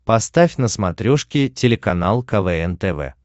поставь на смотрешке телеканал квн тв